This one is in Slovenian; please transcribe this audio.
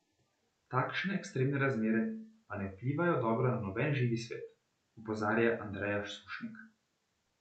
Takšne ekstremne razmere pa ne vplivajo dobro na noben živi svet, opozarja Andreja Sušnik.